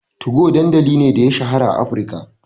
2go dandamali ne da ya shahara a Afirka,